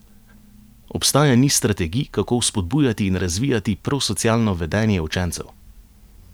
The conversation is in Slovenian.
Obstaja niz strategij, kako vzpodbujati in razvijati prosocialno vedenje učencev.